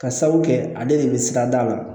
Ka sabu kɛ ale de be sika da o la